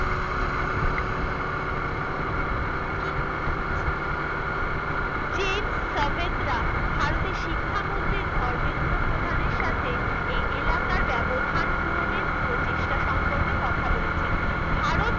কি করা উচিত James Savetra ভারতের শিক্ষা মন্ত্রী ধর্মেন্দ্র প্রধান এর সাথে এই এলাকার ব্যবধান পূরণ এর প্রচেষ্টা সম্পর্কে কথা বলেছেন ভারত